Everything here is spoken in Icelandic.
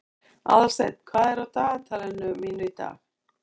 Aðalsteinn, hvað er á dagatalinu mínu í dag?